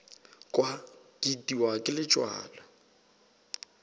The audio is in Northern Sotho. kwa ke itiwa ke letswalo